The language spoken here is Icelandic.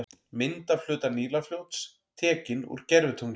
Mynd af hluta Nílarfljóts, tekin úr gervitungli.